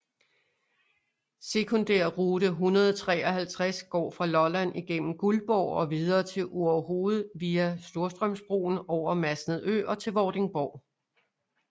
Sekundærrute 153 går fra Lolland igennem Guldborg og videre til Orehoved via Storstrømsbroen over Masnedø og til Vordingborg